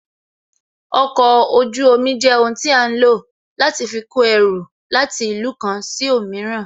Okọ̀ ojú omi jẹ́ ohun tí a ń lò láti fi kó ẹrù láti ìlú kan sí òmíràn